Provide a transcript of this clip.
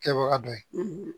Kɛbaga dɔ ye